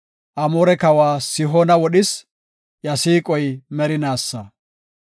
Amoore kawa Sihoona wodhis; iya siiqoy merinaasa.